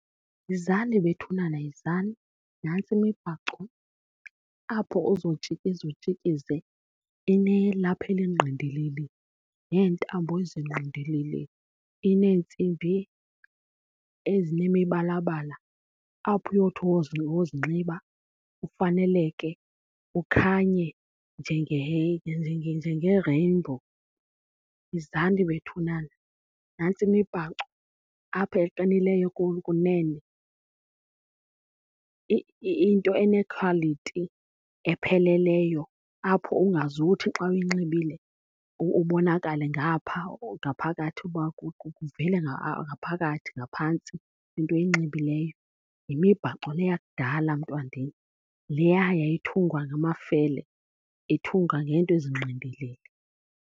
Yizani bethunana, yizani. Nantsi imibhaco apho uzotshikiza utshikize. Inelaphu elingqindilili neentambo ezingqidilili. Ineentsimbi ezinemibalabala apho uyowuthi wozinxiba ufaneleke ukhanye njenge-rainbow. Yizani bethunana, nantsi imibhaco apha eqinileyo kunene. Into ene-quality epheleleyo apho ungazuthi xa uyinxibile ubonakale ngapha ngaphakathi kwakho, kuvele ngaphakathi ngaphantsi into oyinxibileyo. Yimibhaco le yakudala mntwandini, yileya yayithungwa ngamafele, ithungwa ngeento ezingqindilili.